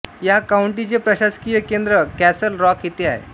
या काउंटीचे प्रशासकीय केन्द्र कॅसल रॉक येथे आहे